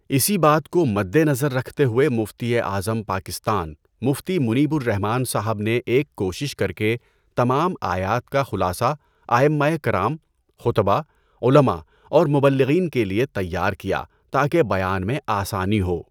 اسی بات کو مدنظر رکھتے ہوئے مفتی اعظم پاکستان مفتی منیب الرحمن صاحب نے ایک کوشش کر کے تمام آیات کا خلاصہ ائمہ کرام ،خطباء، علماء اور مبلغین کے لیے تیار کیا تاکہ بیان میں آسانی ہو۔